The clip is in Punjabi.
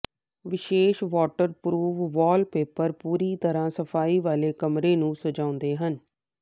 ਵਿਸ਼ੇਸ਼ ਵਾਟਰਪ੍ਰੂਫ਼ ਵਾਲਪੇਪਰ ਪੂਰੀ ਤਰ੍ਹਾਂ ਸਫਾਈ ਵਾਲੇ ਕਮਰੇ ਨੂੰ ਸਜਾਉਂਦੇ ਹਨ